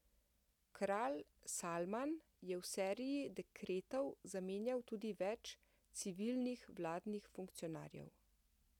Kralj Salman je v seriji dekretov zamenjal tudi več civilnih vladnih funkcionarjev.